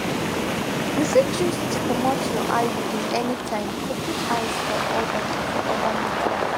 you fit choose tl comot your iud anytime to put eyes for other for other matters.